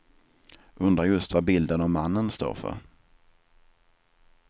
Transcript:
Undrar just vad bilden av mannen står för.